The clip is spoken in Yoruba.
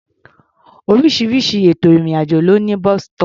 Oríṣiríṣi ètò ìrìn-àjò ló ní bus-stop.